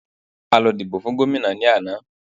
A lọ dìbò fun gómìnà ní àná.